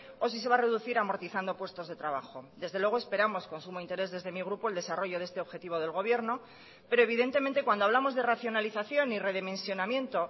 o si se va a reducir amortizando puestos de trabajo desde luego esperamos con sumo interés desde mi grupo el desarrollo de este objetivo del gobierno pero evidentemente cuando hablamos de racionalización y redimensionamiento